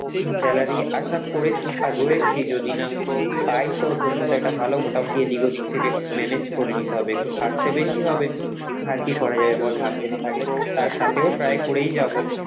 salary আশা করে থাকা রয়েছি যদি না পাই তো তোমাদের একটা ভালো মোটামুটি এদিক ওদিক থেকে manage করে নিতে হবে, একটু খাটতে বেশি হবে আর কি করা যাবে বল ভাগ্যে না থাকলে? তার সাথেও try করেই যাবো